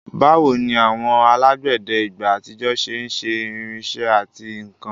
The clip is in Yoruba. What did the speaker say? Báwo ni àwọn alágbẹ̀dẹ ìgbà àtijọ́ ṣe ń ṣe irinṣẹ́ àti nkan?